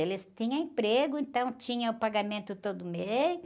Eles tinham emprego, então tinha o pagamento todo mês.